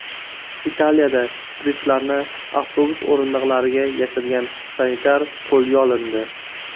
Italiyada shpritslarni avtobus o‘rindiqlariga yashirgan sanitar qo‘lga olindi.